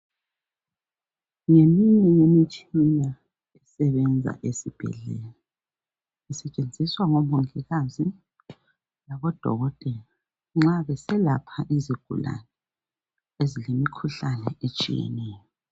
Ngeminye yemitshina esebenza esibhedlela. Isetshenziswa ngomongikazi, labodokotela nxa beselapha izigulane ezilemikhuhlane etshiyeneyo.